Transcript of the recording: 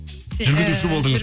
жүргізуші болдыңыз